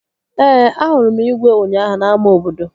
Ee, ahụrụ m igwe ụnyaahụ n'ámá obodo